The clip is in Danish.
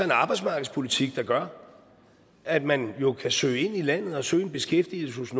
arbejdsmarkedspolitik der gør at man jo kan søge ind i landet og søge beskæftigelse